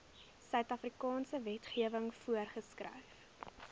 suidafrikaanse wetgewing voorgeskryf